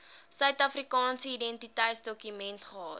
suidafrikaanse identiteitsdokument gehad